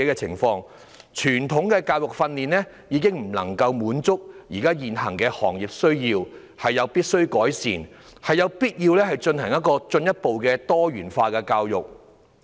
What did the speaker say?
傳統的教育訓練已經不能夠滿足現有的行業需要，有必要改善，有必要推行多元化教育。